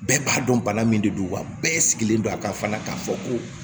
Bɛɛ b'a dɔn bana min de don wa bɛɛ sigilen don a kan fana k'a fɔ ko